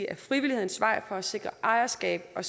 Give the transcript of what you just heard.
ad frivillighedens vej for at sikre ejerskab og